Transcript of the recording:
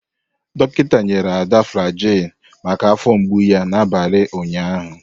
Dọkịta nyere Ada Flagyl maka afọ mgbu ya n'abalị ụnyaahụ.